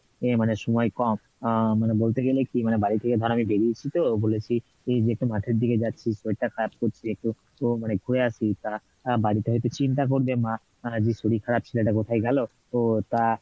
মানে সময় কম, আহ মানে বলতে গেলে কি মানে বাড়ি থেকে ধর আমি বেড়িয়েছি তো বলেছি যে একটু মাঠের দিকে যাচ্ছি শরীর টা খারাপ করছে তো মানে ঘুরে আসি তা বাড়িতে হয়তো চিন্তা করবে মা যে শরীর খারাপ ছেলেটা কোথায় গেলো, তো তা